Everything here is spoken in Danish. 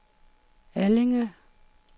Allinge